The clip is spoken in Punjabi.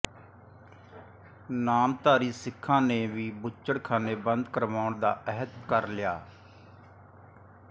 ਨਾਮਧਾਰੀ ਸਿੱਖਾਂ ਨੇ ਵੀ ਬੁੱਚੜਖਾਨੇ ਬੰਦ ਕਰਵਾਉਣ ਦਾ ਅਹਿਦ ਕਰ ਲਿਆ